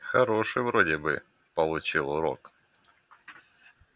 хороший вроде бы получил урок